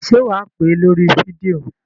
Ṣé wà á pè é lórí fídíò?